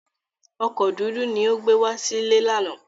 Ọkọ̀ dúdú ni ó gbé wá sílé lánàá.